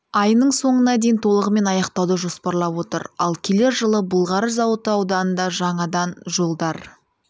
айының соңына дейін толығымен аяқтауды жоспарлап отыр ал келер жылы былғары зауыты ауданында жаңадан жолдар